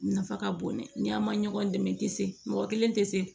Nafa ka bon dɛ ni an ma ɲɔgɔn dɛmɛ tɛ se mɔgɔ kelen tɛ se